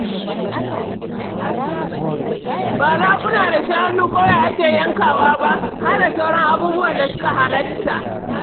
Ba raguna da shanu kawai ake yankawa ba, har da sauran abubuwan da suka halatta.